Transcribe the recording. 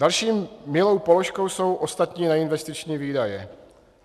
Další milou položkou jsou ostatní neinvestiční výdaje.